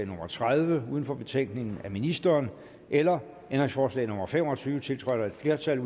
nummer tredive uden for betænkningen af ministeren eller om ændringsforslag nummer fem og tyve tiltrådt af et flertal